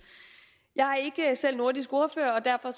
jeg er ikke selv nordisk ordfører og derfor